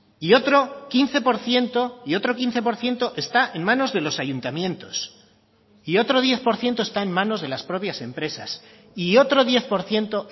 y otro quince por ciento y otro quince por ciento está en manos de los ayuntamientos y otro diez por ciento está en manos de las propias empresas y otro diez por ciento